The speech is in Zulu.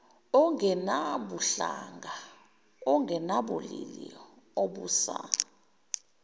ongenabuhlanga ongenabulili obusa